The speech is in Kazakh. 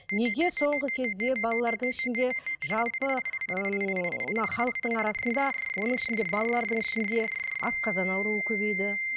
неге соңғы кезде балалардың ішінде жалпы ыыы мына халықтың арасында оның ішінде балалардың ішінде асқазан ауруы көбейді